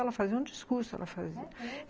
Ela fazia um discurso, ela fazia. É mesmo?